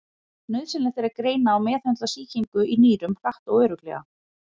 Nauðsynlegt er að greina og meðhöndla sýkingu í nýrum hratt og örugglega.